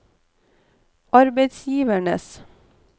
arbeidsgivernes